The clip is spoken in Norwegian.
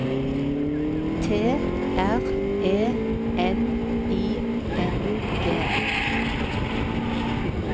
T R E N I N G